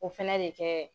O fɛnɛ bɛ kɛ